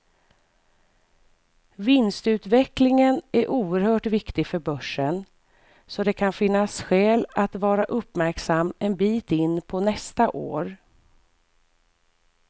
Vinstutvecklingen är oerhört viktig för börsen, så det kan finnas skäl att vara uppmärksam en bit in på nästa år.